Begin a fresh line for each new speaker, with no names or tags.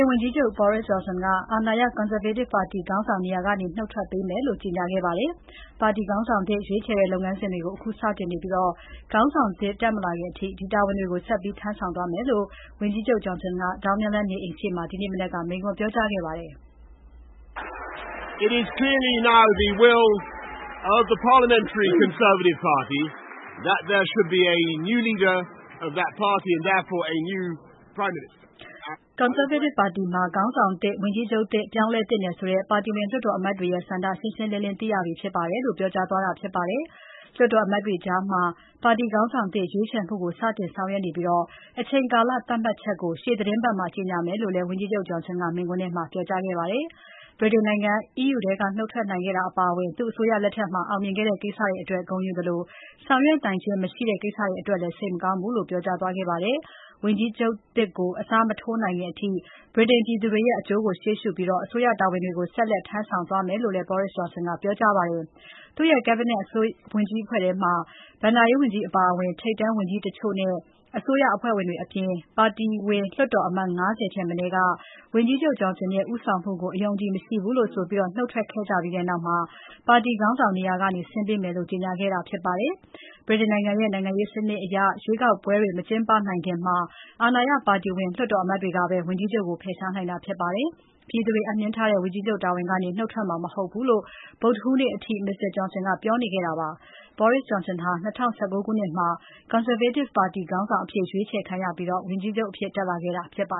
န်ဝန်ကြီးချုပ် Boris Johnson က အာဏာရ Conservative ပါတီခေါင်းဆောင်နေရာကနေ နုတ်ထွက်ပေးမယ်လို့ ကြေညာခဲ့ပါတယ်။ ပါတီခေါင်းဆောင်သစ် ရွေးချယ်တဲ့လုပ်ငန်းစဉ်တွေကို အခု စတင်နေပြီး ခေါင်းဆောင်သစ် တက်မလာခင်အထိ ဒီတာဝန်တွေကို ဆက်ပြီး ထမ်းဆောင်သွားမယ်လို့ ဝန်ကြီးချုပ် Johnson ကဒေါင်းနင်းလမ်းနေအိမ်ရှေ့မှာ ဒီမနက်က မိန့်ခွန်းပြောကြားခဲ့ပါ
တယ်
။ Conservative ပါတီမှာ ခေါင်းဆောင်သစ်၊ ဝန်ကြီးချုပ်သစ် ပြောင်းလဲသင့်တယ်ဆိုတဲ့ ပါတီဝင်လွှတ်တော် အမတ်တွေရဲ့ ဆန္ဒရှင်းရှင်းလင်းလင်း သိရပြီဖြစ်တယ်လို့ ပြောကြားသွားတာဖြစ်ပါတယ်။ လွှတ်တော်အမတ်တွေကြားမှာ ပါတီခေါင်းဆောင်သစ်ရွေးချယ်မှုကို စတင်ဆောင်ရွက်နေပြီး အချိန်ကာလသတ်မှတ်ချက်ကို ရှေ့သီတင်းပတ်မှာ ကြေညာမယ်လို့လည်း ဝန်ကြီးချုပ် Johnson ကမိန့်ခွန်းထဲမှာ ပြောကြားခဲ့ပါတယ်။ ဗြိတိန်နိုင်ငံ EU ထဲက နုတ်ထွက်နိုင်ခဲ့တာအပါအဝင် သူ့အစိုးရလက်ထက်မှာ အောင်မြင်ခဲ့တဲ့ ကိစ္စတွေအတွက် ဂုဏ်ယူသလို ဆောင်ရွက်နိုင်ခြင်းမရှိတဲ့ ကိစ္စတွေအတွက်လည်း စိတ်မကောင်းဘူးလို့လည်း ပြောသွားခဲ့ပါတယ်။ ဝန်ကြီးချုပ်သစ်ကို အစားမထိုးနိုင်ခင်အထိ ဗြိတိန်ပြည်သူတွေရဲ့ အကျိုးကိုရှေ့ရှုပြီး အစိုးရတာဝန်တွေကို ဆက်လက် ထမ်းဆောင်သွားမယ်လို့လည်း Boris Johnson ကပြောကြားပါတယ်။ သူ့ရဲ့ Cabinet ဝန်ကြီးအဖွဲ့ထဲက ဘဏ္ဍာရေးဝန်ကြီးအပါအဝင် ထိပ်တန်းဝန်ကြီးတချို့နဲ့အစိုးရအဖွဲ့ဝင်တွေအပြင် ပါတီဝင်လွှတ်တော်အမတ် ၅၀ ထက်မနည်းက ဝန်ကြီးချုပ် Johnson ရဲ့ ဦးဆောင်ကို အယုံအကြည်မရှိဘူးလို့ဆိုပြီး နုတ်ထွက်ခဲ့ကြပြီးနောက်မှာ ပါတီခေါင်းဆောင်နေရာကနေ ဆင်းပေးမယ်လို့ ကြေညာခဲ့တာဖြစ်ပါတယ်။ ဗြိတိန်နိုင်ငံရဲ့ နိုင်ငံရေးစနစ်အရ ရွေးကောက်ပွဲတွေ မကျင်းပနိုင်ချိန်မှာ အာဏာရပါတီဝင် လွှတ်တော်အမတ်တွေကပဲ ဝန်ကြီးချုပ်ကို ဖယ်ရှားနိုင်တာဖြစ်ပါတယ်။ ပြည်သူတွေအပ်နှင်းထားတဲ့ ဝန်ကြီးချုပ်တာဝန်ကနေ နုတ်ထွက်မှာမဟုတ်ဘူးလို့ ဗုဒ္ဓဟူးနေ့အထိ Mr. Johnson ပြောနေခဲ့တာပါ။ Boris Johnson ဟာ ၂၀၁၉ ခုနှစ်မှာ Conservative ပါတီခေါင်းဆောင်အဖြစ် ရွေးချယ်ခံခဲ့ရပြီး ဝန်ကြီးချုပ်အဖြစ် တက်လာခဲ့တာဖြစ်ပါ